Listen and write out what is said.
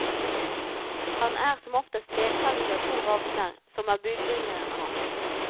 Han er som oftest ledsaget av to ravner, som er budbringerne hans.